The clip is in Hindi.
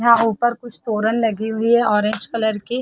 यहां ऊपर कुछ तोरण लगी हुई है ऑरेंज कलर की।